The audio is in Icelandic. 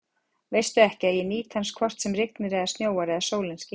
Veistu ekki, að ég nýt hans hvort sem rignir eða snjóar eða sólin skín?